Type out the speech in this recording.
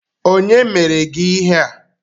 Kedu onye mere gị ihe a?